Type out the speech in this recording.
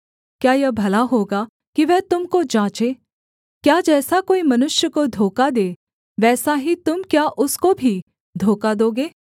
क्या यह भला होगा कि वह तुम को जाँचे क्या जैसा कोई मनुष्य को धोखा दे वैसा ही तुम क्या उसको भी धोखा दोगे